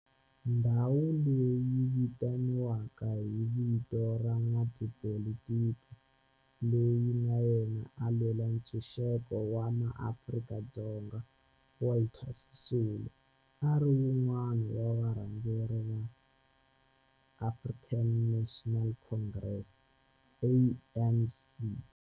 Ndhawo leyi yi vitaniwa hi vito ra n'watipolitiki loyi na yena a lwela ntshuxeko wa maAfrika-Dzonga Walter Sisulu, a ri wun'wana wa varhangeri va African National Congress, ANC.